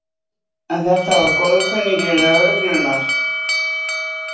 Karen Kjartansdóttir: En þetta var góðkunningi lögreglunnar?